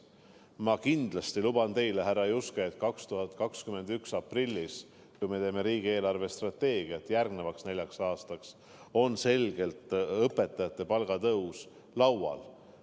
Ma kindlasti luban teile, härra Juske, et 2021. aasta aprillis, kui me teeme riigi eelarvestrateegiat järgmiseks neljaks aastaks, on õpetajate palgatõus selgelt laual.